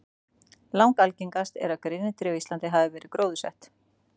Langalgengast er að grenitré á Íslandi hafi verið gróðursett.